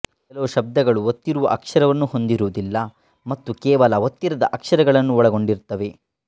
ಕೆಲವು ಶಬ್ದಗಳು ಒತ್ತಿರುವ ಅಕ್ಷರವನ್ನು ಹೊಂದಿರುವುದಿಲ್ಲ ಮತ್ತು ಕೇವಲ ಒತ್ತಿರದ ಅಕ್ಷರಗಳನ್ನು ಒಳಗೊಂಡಿರುತ್ತವೆ